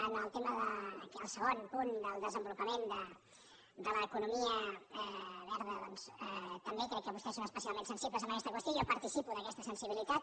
en el tema del segon punt del desenvolupament de l’economia verda doncs també crec que vostès són especialment sensibles en aquesta qüestió i jo participo d’aquesta sensibilitat